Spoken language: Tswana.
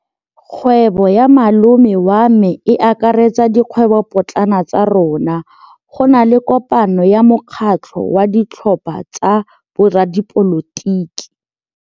Kgwêbô ya malome wa me e akaretsa dikgwêbôpotlana tsa rona. Go na le kopanô ya mokgatlhô wa ditlhopha tsa boradipolotiki.